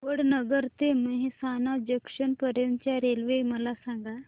वडनगर ते मेहसाणा जंक्शन पर्यंत च्या रेल्वे मला सांगा